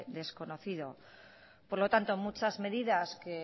desconocido por lo tanto muchas medidas que